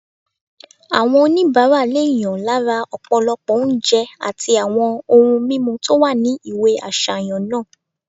Àwọn oníbàárà lè yàn lára ọ̀pọ̀lọpọ̀ oúnjẹ àti àwọn ohun mímu tó wà ní ìwé àsàyàn náà